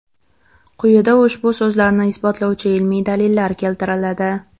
Quyida ushbu so‘zlarni isbotlovchi ilmiy dalillar keltiriladi.